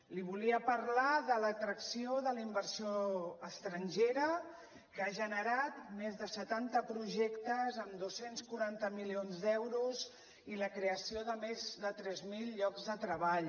li volia parlar de l’atracció de la inversió estrangera que ha generat més de setanta projectes amb dos cents i quaranta milions d’euros i la creació de més de tres mil llocs de treball